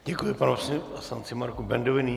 Děkuji panu poslanci Marku Bendovi.